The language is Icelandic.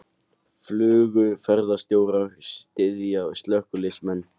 Flugumferðarstjórar styðja slökkviliðsmenn